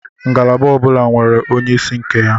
Ngalaba ọbula nwere onye isi nke ya